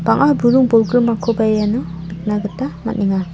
bang·a buring bolgrimkoba iano nikna gita man·enga.